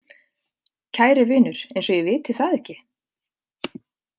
Kæri vinur, eins og ég viti það ekki.